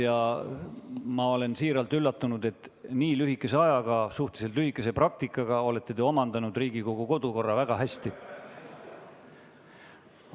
Ja ma olen siiralt üllatunud, et te nii lühikese ajaga, suhteliselt lühikese praktika käigus, olete Riigikogu kodukorra väga hästi omandanud.